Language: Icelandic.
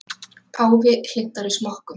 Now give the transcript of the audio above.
Páfi hlynntari smokkum